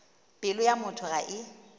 pelo ya motho ga e